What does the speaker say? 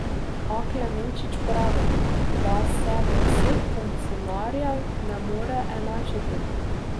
A Klemenčič pravi, da se vseh funkcionarjev ne more enačiti.